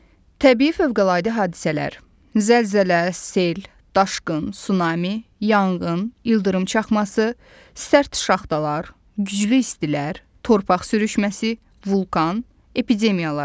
Təbii fövqəladə hadisələr: Zəlzələ, sel, daşqın, sunami, yanğın, ildırım çaxması, sərt şaxtalar, güclü istilər, torpaq sürüşməsi, vulkan, epidemiyalar.